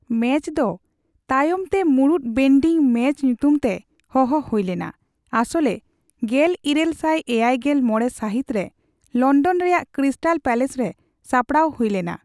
Match ᱫᱚ, ᱛᱟᱭᱚᱢᱛᱮ ᱢᱩᱲᱩᱛ ᱵᱮᱱᱰᱤ ᱢᱮᱪ ᱧᱩᱛᱩᱢᱛᱮ ᱦᱚᱦᱚ ᱦᱩᱭᱞᱮᱱᱟ, ᱟᱥᱚᱞᱨᱮ ᱜᱮᱞᱤᱨᱟᱹᱞ ᱥᱟᱭ ᱮᱭᱟᱭᱜᱮᱞ ᱢᱚᱲᱮ ᱥᱟᱹᱦᱤᱛᱨᱮ ᱞᱚᱱᱰᱚᱱ ᱨᱮᱭᱟᱜ ᱠᱨᱤᱥᱴᱟᱞ ᱯᱮᱞᱮᱥᱨᱮ ᱥᱟᱯᱲᱟᱣ ᱦᱩᱭᱞᱮᱱᱟ ᱾